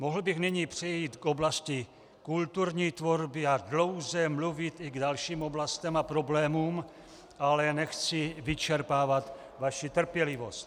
Mohl bych nyní přejít k oblasti kulturní tvorby a dlouze mluvit i k dalším oblastem a problémům, ale nechci vyčerpávat vaši trpělivost.